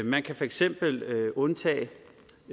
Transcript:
man kan for eksempel undtage